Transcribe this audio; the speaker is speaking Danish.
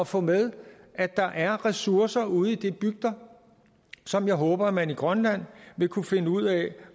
få med at der er ressourcer ude i de bygder som jeg håber at man i grønland vil kunne finde ud af